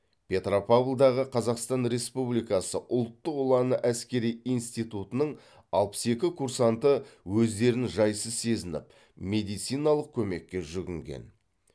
петропавлдағы қазақстан республикасы ұлттық ұланы әскери интитутының алпыс екі курсанты өздерін жайсыз сезініп медициналық көмекке жүгінген